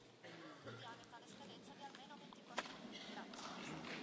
I termini sono stati decisi dalla Conferenza dei presidenti,